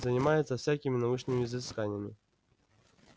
занимается всякими научными изысканиями